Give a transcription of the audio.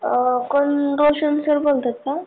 कोण रोशन सर बोलताय का?